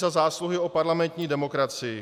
Za zásluhy o parlamentní demokracii.